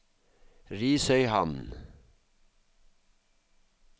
Risøyhamn